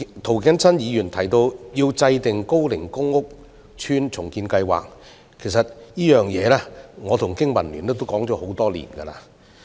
涂謹申議員提到要制訂高齡公共屋邨重建計劃，其實我與經民聯亦就此倡議多年。